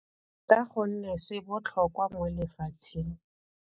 Ka gonne se botlhokwa mo lefatsheng.